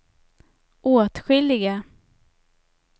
åtskilliga